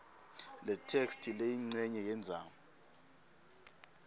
letheksthi leyincenye yendzaba